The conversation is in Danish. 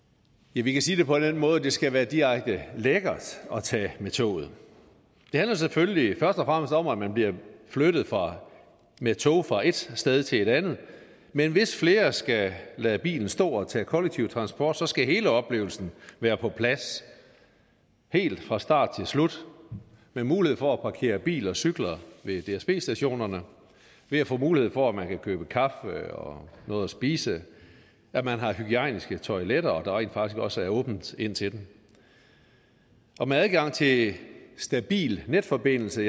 vi vi kan sige det på den måde at det skal være direkte lækkert at tage med toget det handler selvfølgelig først og fremmest om at man bliver flyttet med tog fra et sted til et andet men hvis flere skal lade bilen stå og tage kollektiv transport skal hele oplevelsen være på plads helt fra start til slut med mulighed for at parkere bil og cykler ved dsb stationerne ved at få mulighed for at man kan købe kaffe og noget at spise at man har hygiejniske toiletter og at der rent faktisk også er åbent ind til dem og med adgang til stabil netforbindelse